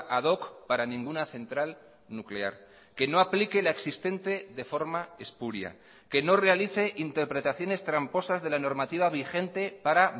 ad hoc para ninguna central nuclear que no aplique la existente de forma espuria que no realice interpretaciones tramposas de la normativa vigente para